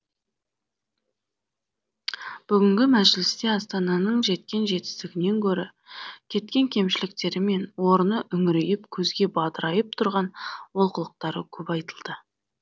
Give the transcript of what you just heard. бүгінгі мәжілісте астананың жеткен жетістігінен гөрі кеткен кемшіліктері мен орны үңірейіп көзге бадырайып тұрған олқылықтары көп айтылды